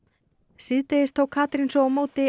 síðdegis tók Katrín svo á móti